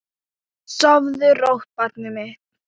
Sofðu rótt barnið mitt.